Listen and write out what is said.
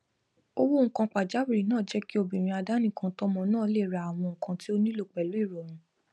owó nǹkan pajáwìrì náà jẹ kí obìnrin adánìkàntọmọ náà lé ra àwọn nǹkan tí ó nílò pẹlú ìrọrùn